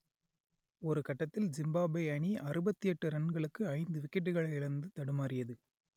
ஒரு கட்டத்தில் ஜிம்பாப்வே அணி அறுபத்தி எட்டு ரன்களுக்கு ஐந்து விக்கெட்டுகளை இழந்து தடுமாறியது